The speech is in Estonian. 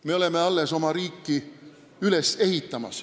Me alles ehitame oma riiki üles.